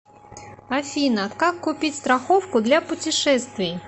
афина как купить страховку для путешествий